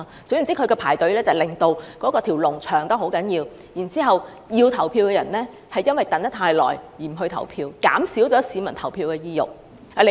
總言之，他們排隊令人龍增長，以致原本想投票的人因為等得太久而不投票，降低市民投票的意欲。